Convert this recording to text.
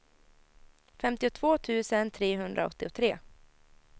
femtiotvå tusen trehundraåttiotre